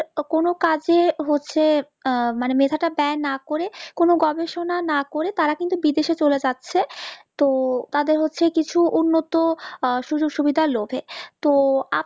কোনো কাজে হচ্ছে মেধা তা ব্যায় না করে কোনো গবেষণা না করে তারা কিন্তু বিদেশে চলে যাচ্ছে তো তাদের হচ্ছে কিছু উন্নত আহ সুযোক সুবিধা লোভে তো